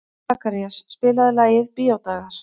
Sakarías, spilaðu lagið „Bíódagar“.